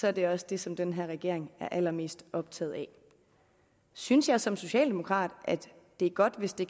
er det også det som den her regering er allermest optaget af synes jeg som socialdemokrat at det er godt hvis det